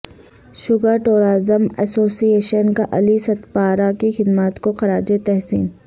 شگرٹورازم association کاعلی سدپارہ کی خدمات کوخراج تحسین